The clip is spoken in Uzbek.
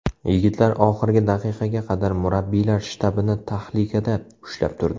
Yigitlar oxirgi daqiqaga qadar murabbiylar shtabini tahlikada ushlab turdi.